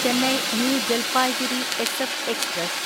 Chennai new Jalpaiguri SF express